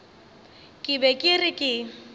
ke be ke re ke